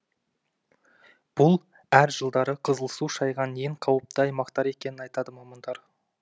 бұл әр жылдары қызыл су шайған ең қауіпті аумақтар екенін айтады мамандар